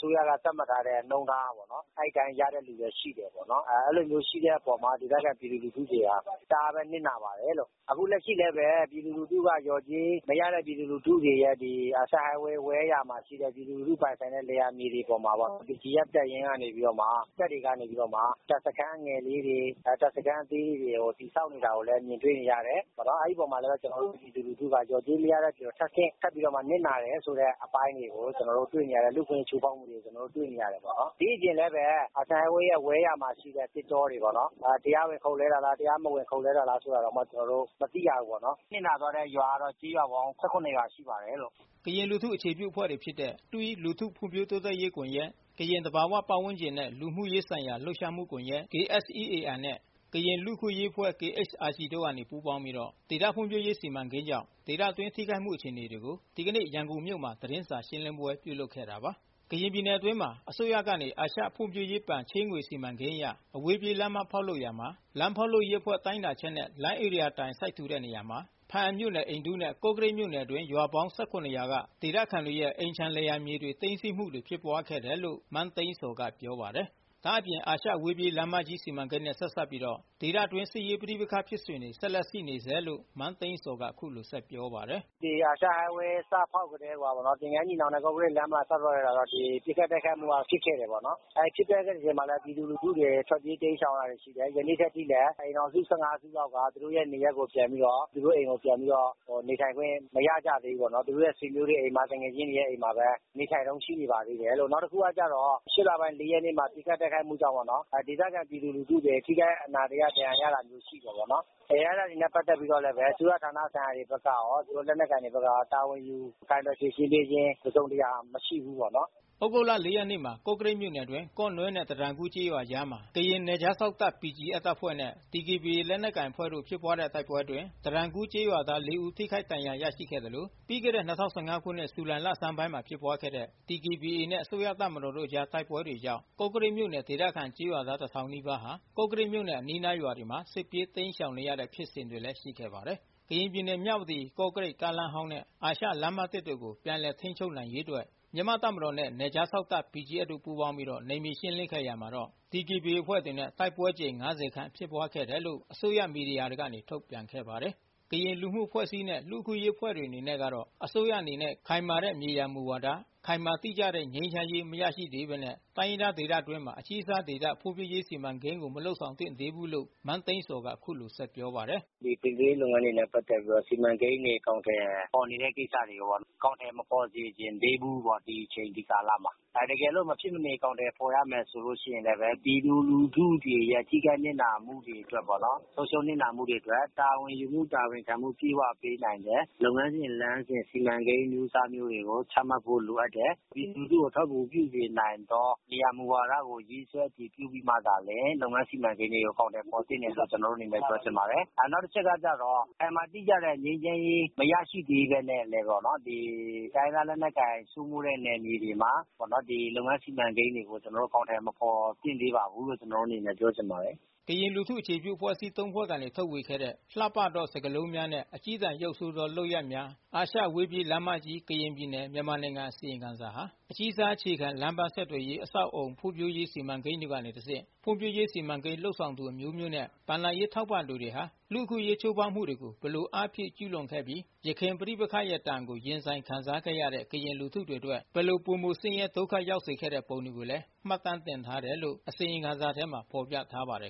စိုးရက သတ်မှတ်ထားတဲ့ နှုန်းထားပေါ့နော်။ အဲ့အတိုင်း ရတဲ့သူလည်းရှိတယ်ပေါ့နော်။ အဲ့လိုမျိုး ရှိတဲ့အပေါ်မှာ ဒေသခံပြည်သူလူထုတွေက တအားပဲနစ်နာပါတယ်လို့။ အခုလက်ရှိလည်းပဲ လျော်ကြေးမရတဲ့ပြည်သူလူထုတွေရယ်၊ အာရှအဝေးပြေး လမ်းမကြီး ဝဲ ယာမှာရှိတဲ့ ပြည်သူလူထု ပိုင်ဆိုင်တဲ့ လယ်ယာမြေတွေပေါ်မှာ BGF တပ်ရင်းကနေပြီးတော့မှ တပ်တွေကနေ တပ်စခန်းငယ်လေးတွေ တပ်စခန်းသေးလေးတွေ ကို တည်ဆောက်နေတာကိုလည်း မြင်တွေ့နေရတယ်။ အဲ့ဒီ့အပေါ်မှာ ကျနော်တို့ပြည်သူလူထုက လျော်ကြေးမရတဲ့အပြင် ထပ်ဆင့် ထပ်ပြီးနစ်နာတယ်ဆိုတဲ့ အပိုင်းတွေကို တွေ့နေရတယ်။ လူ့အခွင့်အရေး ချိုးဖောက်မှုတွေကို ကျနော်တို့ တွေ့နေရတယ်ပေါ့နော်။ ဒီ့အပြင်လည်းပဲ အာရှအဝေးပြေးလမ်းမကြီး ဝဲ.ယာမှာ ရှိတဲ့သစ်တောတွေပေါ့နော် တရားဝင် ခုတ်လှဲတာလား တရားမဝင်ခုတ်လှဲတာလားဆိုတာတောင် ကျနော်တို့ မသိရဘူးပေါ့နော်။ နစ်နာသွားတဲ့ရွာကတော့ ကျေးရွာပေါင်း ၁၇ ရွာရှိပါတယ်လို့။ " ကရင်လူထုအခြေပြုအဖွဲ့တွေဖြစ်တဲ့ THWEE လူထုဖွံ့ဖြိုးတိုးတက်ရေးကွန်ရက်၊ ကရင်သဘာဝပတ်ဝန်းကျင်နှင့် လူမှု ရေးဆိုင်ရာလှုပ်ရှားမှုကွန်ရက် နဲ့ ကရင်လူ့အခွင့်အရေးအဖွဲ့ တို့ကနေပူးပေါင်းပြီး ဒေသဖွံ့ဖြိုးရေး စီမံကိန်းကြောင့် ဒေသအတွင်း ထိခိုက်မှု အခြေအနေတွေကိုဒီကနေ့ ရန်ကုန်မြို့မှာ သတင်းရှင်းလင်းပွဲပြုလုပ်ခဲ့တာပါ။ ကရင်ပြည်နယ်အတွင်းမှာအစိုးရကနေ အရှဖွံ့ဖြိုးရေးဘဏ် ချေးငွေစီမံကိန်းအရ အဝေးပြေး လမ်းမဖောက်လုပ်ရာမှာ လမ်းဖောက်လုပ်ရေးအဖွဲ့တိုင်းတာချက်နဲ့ လမ်းဧရိယာတိုင် စိုက်ထူတဲ့နေရာမှာ ဖားအံမြို့နယ် အိန္ဒုနဲ့ ကော့ကရိတ် မြို့နယ် တွင်း ရွာပေါင်း ရွာက ဒေသခံတွေရဲ့ အိမ်ခြံလယ်ယာမြေတွေ သိမ်းဆည်းမှု တွေဖြစ်ပွါး ခဲ့တယ်လို့လဲ မန်းသိန်းဇော်ကပြောပါတယ်။ ဒါ့အပြင် အာရှအဝေးပြေး လမ်းမကြီးစီမံကိန်းနဲ့ ဆက်စပ်ပြီး ဒေသအတွင်း စစ်ရေး ပဋိပက္ခဖြစ်စဉ်တွေ ဆက်လက်ရှိနေဆဲလို့ မန်းသိန်းဇော်က အခုလို ဆက်ပြောပါတယ်။ " ဒီ အာရှအဝေးပြေးလမ်းမကြီး စဖောက်ကတည်းကိုက သင်္ဃန်းညီနောင် နဲ့ ကော့ကရိတ် စဖောက်ကတည်းက ပစ်ခတ် တိုက်ခိုက်မှုက ဖြစ် ခဲ့တယ်ပေါ့နော်။ ဖြစ်ပျက်တဲ့ အချိန်မှာလည်းပဲ ပြည်သူလူထုတွေ ထွက်ပြေး တိမ်းရှောင်ရတာတွေရှိတယ်။ ယနေ့ထက်ထိလည်း အိမ်ထောင်စု ၁၅စုလောက်က သူတို့ရဲ့နေရပ်ကို သူတို့အိမ်ကို ပြန်ပြီးတော့ နေထိုင်ခွင့်မရကြဘူး။ သူတို့ရဲ့ဆွေမျိုးတွေအိမ်မှာ သူငယ်ချင်းတွေရဲ့အိမ်မှာ ပဲ နေထိုင်တုန်း ရှိနေပါသေးတယ်လို့။ နောက်တခုကကျတော့ ၈လပိုင်း ၄ရက်နေ့မှာ ပစ်ခတ် တိုက်ခိုက်မှုကြောင့်ပေါ့နော် ဒေသခံပြည်သူလူထု ထိခိုက်နစ်နာ အနာတရ ဒဏ်ရာရမှုရှိတယ်ပေါ့။ အဲ့တာတွေနဲ့ပတ်သက်ပြီးတော့လည်း အစိုးရဌာနတွေဘက်က ရော လက်နက်ကိုင်တွေဘက်ကရော တာဝန်ယူဖြေရှင်းပေးခြင်း တစုံတရာ မရှိဘူးပေါ့နော်။ " သြဂုတ်လ ရက်နေ့မှာ ကော့ကရိတ်မြို့နယ် အတွင်း ကော့နွဲ့ နဲ့ တတန်ကူးကျေးရွာ အကြားမှာ ကရင်နယ်ခြားစောင့် တပ် BGFတပ်ဖွဲ့နဲ့ DKBA ကရင်လက်နက်ကိုင် အဖွဲ့တို့ဖြစ်ပွါးခဲ့တဲ့ တိုက်ပွဲအတွင်း တတန်ကူးကျေးရွာ သား ဦး ထိခိုက်ဒဏ်ရာ ရရှိခဲ့သလို ပြီးခဲ့တဲ့ ခုနှစ် ဇူလိုင် လဆန်းပိုင်းကဖြစ်ပွါးခဲ့တဲ့ နဲ့ အစိုးရတပ်မတော်တို့ အကြား တိုက်ပွဲကြောင့် ကော့ကရိတ်မြို့နယ် ဒေသခံကျေးရွာသား နီးပါးဟာ ကော့ကရိတ်မြို့နဲ့ အနီးအနား ရွာတွေမှာ စစ်ပြေး တိမ်းရှောင်နေရတဲ့ဖြစ်စဉ်တွေလဲ ရှိခဲ့ပါတယ်။ ကရင်ပြည်နယ် မြဝတီ-ကော့ကရိတ် ကားလမ်းဟောင်းနဲ့ အာရှလမ်းသစ် တို့ကို ပြန်လည် ထိန်းချုပ်နိုင်ရေးအတွက် မြန်မာ့တပ်မတော်နှင့် နယ်ခြားစောင့်တပ်-BGF တို့ ပူးပေါင်းပြီး နယ်မြေရှင်းလင်းခဲ့ရာမှာတော့ ဒီကေဘီအေအဖွဲ့ နဲ့ တိုက်ပွဲအကြိမ် ခန့်ဖြစ်ပွါးခဲ့တယ်လို့ အစိုးရမီဒီယာတွေကနေ ထုတ်ပြန်ခဲ့ပါတယ်။ ကရင်လူမှုအဖွဲ့အစည်းနဲ့ လူ့အခွင့်အရေးအဖွဲ့တွေ အနေနဲ့ကတော့ အစိုးရအနေနဲ့ ခိုင်မာတဲ့မြေယာမူဝါဒနဲ့ ခိုင်မာ တိကျတဲ့ငြိမ်းချမ်းရေး မရရှိသေးဘဲနဲ့ တိုင်းရင်းသားဒေသအတွင်းမှာ အကြီးစားဒေသဖွံ့ဖြိုးရေးစီမံကိန်းကိုမလုပ်ဆောင်သင့်သေးဘူးလို့ မန်းသိန်းဇော်က အခုလိုဆက်ပြောပါတယ်။ " ဖွံ့ဖြိုးရေးနဲ့ပတ်သက်ပြီးတော့ စီမံကိန်းတွေ အကောင်အထည်ဖော်နေတဲ့ ကိစ္စတွေကို အကောင်အထည်မဖော်စေချင်သေးဘူးပေါ့နော်။ ဒီအချိန် ဒီကာလမှာ။ တကယ်လို့ မဖြစ်မနေ အကောင်အထည်ဖော်ရမယ် ဆိုရင်လည်း ပြည်သူလူထုတွေ ရဲ့ ထိခိုက်နစ်နာမှု တွေ ဆုံးရှုံးနစ်နာမှုတွေအတွက် တာဝန်ယူမှု တာဝန်ခံမှု အပြည့်အဝ ပေးနိုင်မယ့် လုပ်ငန်းစဉ် လမ်းစဉ် စီမံကိန်းအမျိုးအစားမျိုးတွေကို ချမှတ်ဖို့လိုအပ်တယ်။ ပြည်သူလူထုကို အထောက်အကူပြုစေနိုင်သော မြေယာ မူဝါဒကို ရေးဆွဲ အတည်ပြုပြီးမှသာလျှင် လုပ်ငန်းစီမံကိန်းတွေကို အကောင်အထည်ဖော်သင့်တယ်လို့ ကျနော်တို့ အနေနဲ့ ပြောချင်ပါတယ်။ နောက်တချက် ကတော့ ခိုင်မာတိကျတဲ့ငြိမ်းချမ်းရေး မရရှိသေးပဲနဲ့ တိုင်းရင်းသားလက်နက်ကိုင်စိုးမိုးတဲ့နယ်မြေတွေမှာ လုပ်ငန်းစီမံကိန်းတွေကို အကောင်အထည်မဖော်သင့်သေးပါဘူးလို့ ကျနော်တို့အနေနဲ့ ပြောချင်ပါတယ်။" ကရင်လူထုအခြေပြုအဖွဲ့အစည်း ဖွဲ့ကနေ ထုတ်ဝေခဲ့တဲ့ လှပသော စကားလုံးများနှင့် အကျည်းတန်ရုပ်ဆိုးသောလုပ် ရပ်များ၊ အာရှအဝေးပြေး လမ်းမကြီး၊ကရင်ပြည်နယ်၊မြန်မာနိုင်ငံ”အစီရင်ခံစာဟာ အကြီးစား အခြေခံလမ်းပန်းဆက် သွယ်ရေးအဆောက်အအုံ ဖွံ့ဖြိုးရေးစီမံကိန်းတွေကနေ တစ်ဆင့် ဖွံ့ဖြိုးရေး စီမံကိန်းလုပ်ဆောင်သူအမျိုးမျိုးနှင့် ဘဏ္ဍာ ရေးထောက်ပံ့ သူတွေက လူ့အခွင့်အရေးချိုးဖေါက်မှုတွေကို ဘယ်လိုအားဖြည့် ကျူးလွန်ခဲ့ပြီး ယခင်ပဋိပက္ခရဲ့ဒဏ်ကို ရင်ဆိုင်ခံစားခဲ့ရတဲ့ ကရင်လူထုတွေအတွက် ဘယ်လို ပိုမိုဆင်းရဲဒုက္ခရောက်စေခဲ့ပုံတွေကို မှတ်တမ်းတင်ထားတယ် လို့အစီရင်ခံစာမှာဖေါ်ပြထားပါတယ်